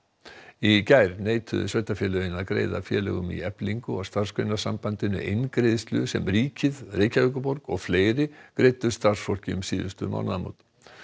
í gær neituðu sveitarfélögin að greiða félögum í Eflingu og Starfsgreinasambandinu eingreiðslu sem ríkið Reykjavíkurborg og fleiri greiddu starfsfólki um síðustu mánaðamót